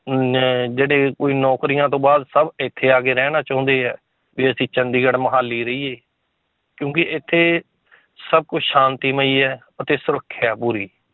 ਨਾ ਜਿਹੜੇ ਕੋਈ ਨੌਕਰੀਆਂ ਤੋਂ ਬਾਅਦ ਸਭ ਇੱਥੇ ਆ ਕੇ ਰਹਿਣਾ ਚਾਹੁੰਦੇ ਹੈ, ਵੀ ਅਸੀਂ ਚੰਡੀਗੜ੍ਹ ਮੁਹਾਲੀ ਰਹੀਏ ਕਿਉਂਕਿ ਇੱਥੇ ਸਭ ਕੁਛ ਸ਼ਾਂਤੀਮਈ ਹੈ ਅਤੇ ਸੁਰੱਖਿਆ ਹੈ ਪੂਰੀ।